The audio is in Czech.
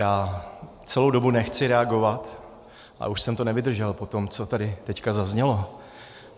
Já celou dobu nechci reagovat, ale už jsem to nevydržel po tom, co tady teď zaznělo.